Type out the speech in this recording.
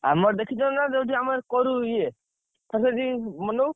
ଆମର ଦେଖିଛ ନା ଯୋଉଟି ଆମର କରୁ ଇଏ ସେଇଥି ମନଉ।